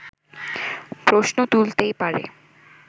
প্রশ্ন তুলতেই পারে